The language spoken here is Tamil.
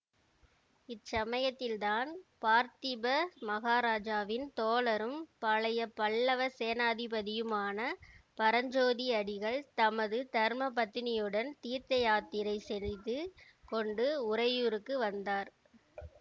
இச்சமயத்தில்தான் பார்த்திப மகாராஜாவின் தோழரும் பழைய பல்லவ சேனாதிபதியுமான பரஞ்சோதி அடிகள் தமது தர்ம பத்தினியுடன் தீர்த்தயாத்திரை செய்து கொண்டு உறையூருக்கு வந்தார்